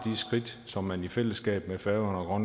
skridt som man i fællesskab med færøerne og